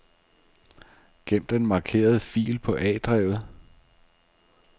Gem den markerede fil på A-drevet.